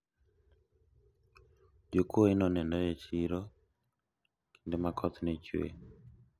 jokuoye ne onenore e siro kinde ma koth nye chuwe